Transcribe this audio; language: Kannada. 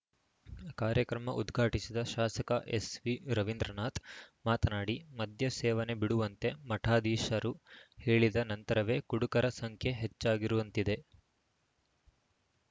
ಕಾರ್ಯಕ್ರಮ ಉದ್ಘಾಟಿಸಿದ ಶಾಸಕ ಎಸ್‌ಎರವೀಂದ್ರನಾಥ ಮಾತನಾಡಿ ಮದ್ಯ ಸೇವನೆ ಬಿಡುವಂತೆ ಮಠಾಧೀಶರು ಹೇಳಿದ ನಂತರವೇ ಕುಡುಕರ ಸಂಖ್ಯೆ ಹೆಚ್ಚಾಗಿರುವಂತಿದೆ